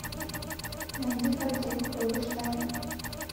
найди картинку побеждай